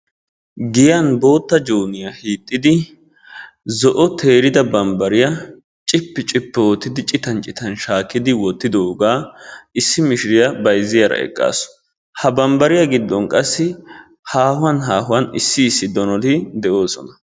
Giyan bootta joyniya hiixxidi zo'o teerida bambbariya cippi cippi oottidi citan citan shaakkidi wottidoogaa issi mishiriya bayzziyara eqqaasu. Ha bambbariya giddon qassi haahuwan haahuwan issi issi donoti de'oosona.